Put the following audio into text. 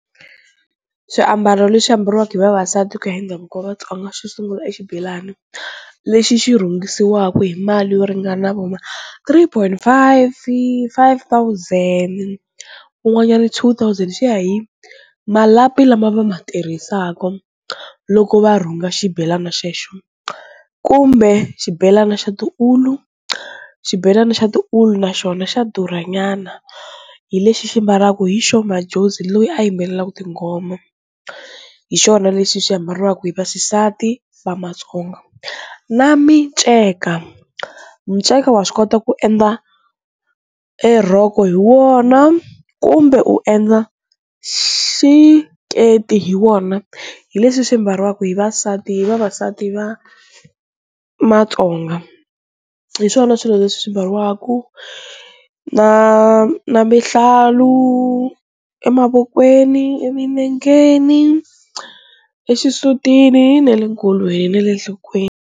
Swiambalo leswi ambariwaka hi vavasati ku ya hi ndhavuko wa Vatsonga xo sungula i xibelani lexi xi rhungisiwaka hi mali yo ringana vo ma three point five, five thousand kun'wanyani two thousand, swi ya hi malapi lama va ma tirhisaka loko va rhunga xibelana xexo kumbe xibelana xa tiulu, xibelana xa tiulu naxona xa durha nyana hi lexi xi mbalaku hi Sho Madjozi loyi a yimbelelaka tinghoma, hi xona lexi xi ambariwaku hi vaxisati Vamatsonga na miceka miceka wa swi kota ku endla e rhoko hi wona kumbe u endla xiketi hi wona, hi leswi swi mbariwaka hi vavasati vavasati va Matsonga, hi swona swilo leswi mbariwaku na na mihlalu emavokweni, eminengeni exisutini na le nkolweni na le enhlokweni.